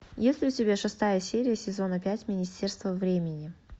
есть ли у тебя шестая серия сезона пять министерство времени